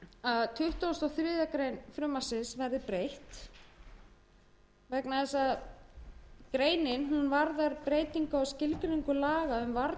að tuttugasta og þriðju greinar frumvarpsins verði breytt en greinin varðar breytingu á skilgreiningu laga um varnir gegn mengun hafs og